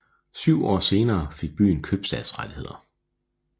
Syv år senere fik byen købstadsrettigheder